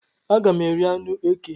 Aga m eri anụ eke